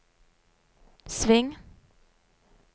sving